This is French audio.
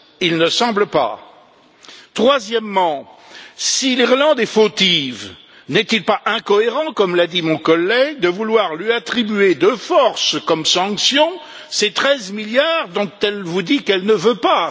Il ne semble pas. Troisièmement, si l'Irlande est fautive, n'est il pas incohérent, comme l'a dit mon collègue, de vouloir lui attribuer de force comme sanction ces 13 milliards dont elle vous dit qu'elle ne veut pas?